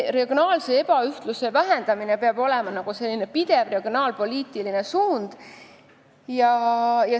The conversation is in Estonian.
Regionaalse ebaühtluse vähendamine peab olema pidev regionaalpoliitiline suund.